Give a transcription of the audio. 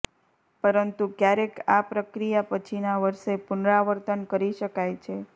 પરંતુ ક્યારેક આ પ્રક્રિયા પછીના વર્ષે પુનરાવર્તન કરી શકાય છે